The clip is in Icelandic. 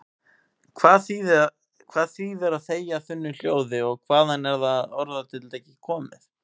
Hvað þýðir að þegja þunnu hljóði og hvaðan er þetta orðatiltæki komið?